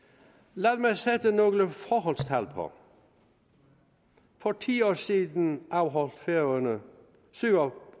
lad mig sætte nogle forholdstal på for ti år siden afholdt færøerne syv og